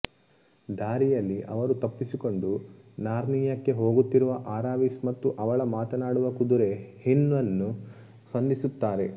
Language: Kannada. ದಾರಿಯಲ್ಲಿ ಅವರು ತಪ್ಪಿಸಿಕೊಂಡು ನಾರ್ನಿಯಾಕ್ಕೆ ಹೋಗುತ್ತಿರುವ ಅರಾವಿಸ್ ಮತ್ತು ಅವಳ ಮಾತನಾಡುವ ಕುದುರೆ ಹ್ವಿನ್ಅನ್ನು ಸಂಧಿಸುತ್ತಾರೆ